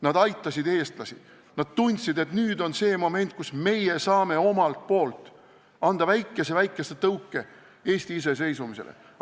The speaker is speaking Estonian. Nad aitasid eestlasi, nad tundsid, et nüüd on see moment, kus nemad saavad omalt poolt anda väikese-väikese tõuke Eesti iseseisvumisele.